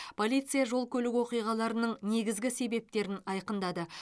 полиция жол көлік оқиғаларының негізгі себептерін айқындады